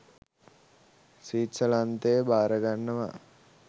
ස්විට්සර්ලන්තය බාරගන්නවා.